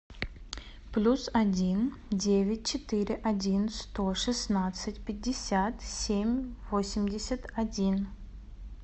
плюс один девять четыре один сто шестнадцать пятьдесят семь восемьдесят один